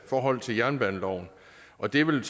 forhold til jernbaneloven og det vil